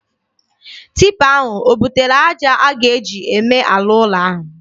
Tipa ahụ o butere aja a ga-eji eme ala ụlọ ahụ?